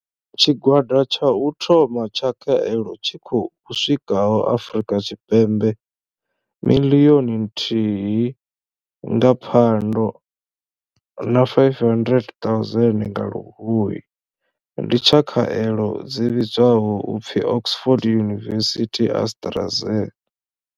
Tshigwada tsha u thoma tsha khaelo tshi khou swikaho Afrika Tshipembe miḽioni nthihi nga Phando na 500 000 nga Luhuhi ndi tsha khaelo dzi vhidzwaho u pfi Oxford University-AstraZ.